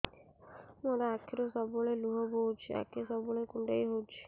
ମୋର ଆଖିରୁ ସବୁବେଳେ ଲୁହ ବୋହୁଛି ଆଖି ସବୁବେଳେ କୁଣ୍ଡେଇ ହଉଚି